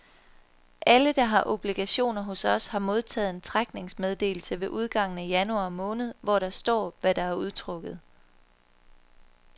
Alle der har obligationer hos os, har modtaget en trækningsmeddelelse ved udgangen af januar måned hvor der står hvad der udtrukket.